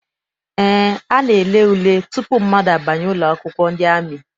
Eé, a na-ele ule tutu mmadụ abanye ụlọakwụkwọ ndị amị.